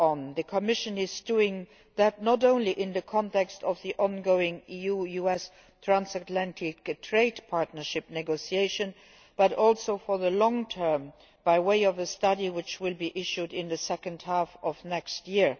The Commission is doing that, not only in the context of the ongoing EU US transatlantic trade partnership negotiations but also for the long term by way of a study which will be issued in the second half of next year.